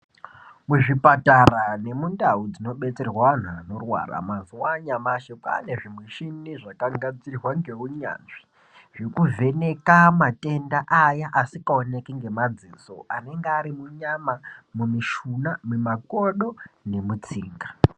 Mu zvipatara nemu ndau dzino betserwa antu anorwara mazuva anyamashi kwane zvi mushina zvaka gadzirwa nge unyanzvi zveku vheneka matenda aya asika oneki ne maziso anenge ari nyama mi mushuna mi makodo nemu tsinga.